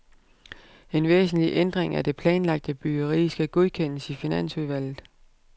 En væsentlig ændring af det planlagte byggeri skal godkendes i finansudvalget.